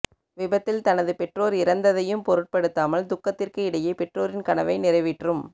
விபத்தில் தனது பெற்றோர் இறந்ததையும் பொருட்படுத்தாமல் துக்கத்திற்கு இடையே பெற்றோரின் கனவை நிறைவேற்றும்